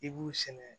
I b'u sɛnɛ